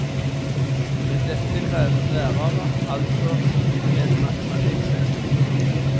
Til dette kreves lærere, altså en matematikkseksjon.